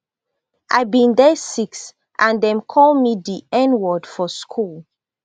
i bin dey six and dem call me di nword for school